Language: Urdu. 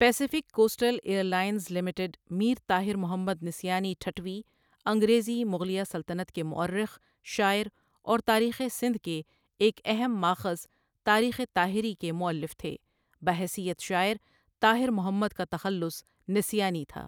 Pacific coastal airlines limited Mir Tahir Muhammad Nisyani Thattvi انگریزی مغلیہ سلطنت کے مؤرخ، شاعر اور تاریخ سندھ کے ایک اہم مآخذ تاریخ طاہری کے مؤلف تھے بحیثیت شاعر، طاہر محمد کا تخلص نسیانی تھا۔